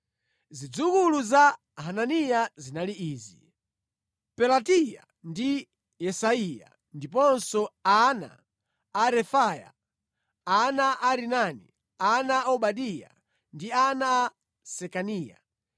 Zidzukulu za Hananiya zinali izi: Pelatiya ndi Yesaiya, ndiponso ana a Refaya, ana a Arinani, ana a Obadiya ndi ana a Sekaniya.